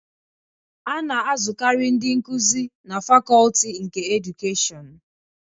A na-azụkarị ndị nkuzi na Fakọlti nke Edukeshịọnu.